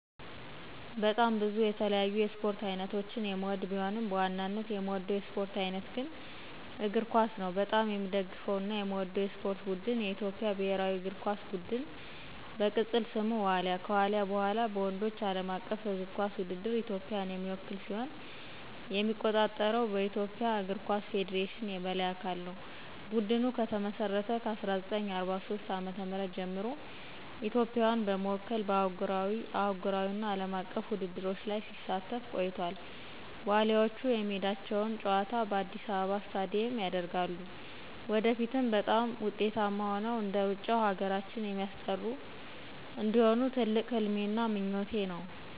በጣም ብዙ የተለያዩ የስፖርት አይነቶችን የምወድቢሆንም፣ በዋናነት የምወደው የስፖርት አይነት ግን እግር ኳስ ነው። በጣም የምደግፈውና የምወደው የስፖርት ቡድን የኢትዮጵያ ብሔራዊ እግር ኳስ ቡድን፣ በቅፅል ስሙ ዋሊያ፣ ከዋልያ በኋላ፣ በወንዶች ዓለም አቀፍ እግር ኳስ ውድድር ኢትዮጵያን የሚወክል ሲሆን የሚቆጣጠረው በኢትዮጵያ እግር ኳስ ፌዴሬሽን የበላይ አካል ነው። ቡድኑ ከተመሰረተ ከ1943 ዓ.ም ጀምሮ ኢትዮጵያን በመወከል በአህጉራዊ፣ አህጉራዊ እና አለም አቀፍ ውድድሮች ላይ ሲሳተፍ ቆይቷል፤ ዋሊያዎቹ የሜዳቸውን ጨዋታ በአዲስ አበባ ስታዲየም ያደርጋሉ። ወደፊትም በጣም ውጤታማ ሆነው እንደሩጫው ሀገራችን የሚስጠሩ እንዲሆኑ ትልቅ ህልሜና ምኞቴ ነው።